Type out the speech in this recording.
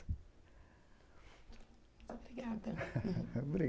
Obrigada.